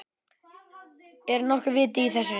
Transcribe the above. Er nokkuð vit í þessu?